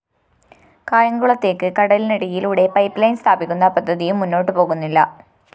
കായംകുളത്തേക്ക് കടലിനടിയിലൂടെ പൈപ്പ്ലൈൻ സ്ഥാപിക്കുന്ന പദ്ധതിയും മുന്നോട്ടു പോകുന്നില്ല